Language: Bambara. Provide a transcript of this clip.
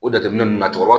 O jateminɛ ninnu na cɛkɔrɔba